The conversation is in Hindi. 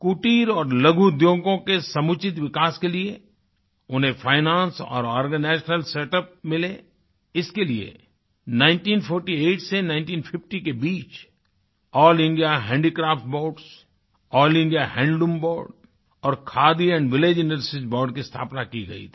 कुटीर और लघु उद्योगों के समुचित विकास के लिए उन्हें फाइनेंस और आर्गेनाइजेशन सेटअप मिले इसके लिए 1948 से 1950 के बीच all India handicrafts board all India handloom board और खादी विलेज इंडस्ट्रीज बोर्ड की स्थापना की गई थी